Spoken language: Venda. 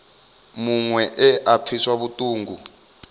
muṅwe we a pfiswa vhuṱungu